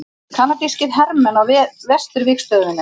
Kanadískir hermenn á vesturvígstöðvunum.